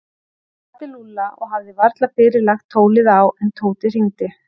Hann kvaddi Lúlla og hafði varla fyrr lagt tólið á en Tóti hringdi.